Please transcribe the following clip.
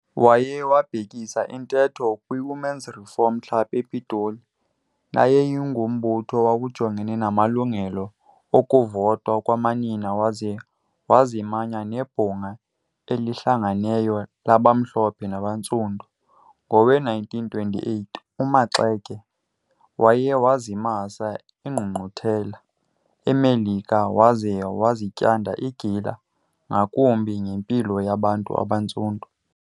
Waye wabhekisa intetho kwiWomen's Reform Club ePitoli, neyayingumbutho owawujongene namalungelo okuvota kwamanina waze wazimanya neBhunga eliHlanganeyo labaMhlophe nabaNtsundu. Ngowe-1928, uMaxeke waye wazimasa ingqungquthela eMelika waze wazityanda igila ngakumbi ngempilo yabantu abaNtsundu.